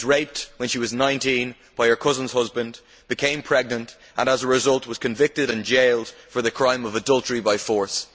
She was raped when she was 19 by her cousin's husband, became pregnant, and as a result was convicted and jailed for the crime of adultery by force'.